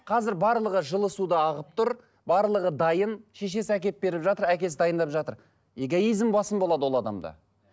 қазір барлығы жылы су да ағып тұр барлығы дайын шешесі әкеліп беріп жатыр әкесі дайындап жатыр эгоизм басым болады ол адамда